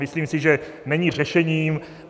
Myslím si, že není řešením.